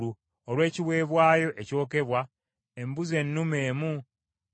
embuzi ennume emu nga ya kiweebwayo olw’ekibi;